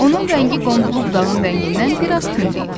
Onun rəngi qonduğu budağın rəngindən bir az tünd idi.